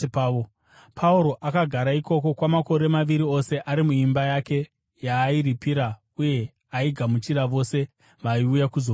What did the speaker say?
Pauro akagara ikoko kwamakore maviri ose ari muimba yake yaairipira uye aigamuchira vose vaiuya kuzomuona.